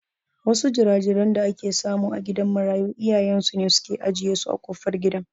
Wasu jira-jiran da ake samu a gidan marayu iyayen su ne suke ajiye su a kofar gidan.